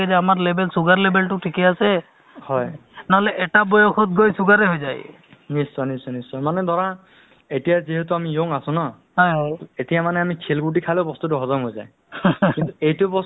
to ল'ৰা ল'ৰাকো ৰাখি শাহুয়োক' ৰাখি বুজোৱা হয় ANM থাকে MPW থাকে আশাতো labour থাকে এহ্ এনেকে প্ৰি সেইটোতো সেইটোয়ে আৰু plus তোমাৰ যিখিনি বেম্ ধৰা initilaTB বেমাৰ বা মেলেৰিয়া হওক